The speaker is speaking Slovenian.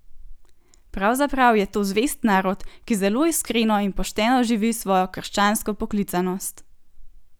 Pravzaprav je to zvest narod, ki zelo iskreno in pošteno živi svojo krščansko poklicanost.